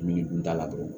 Minikun t'a la dɔrɔn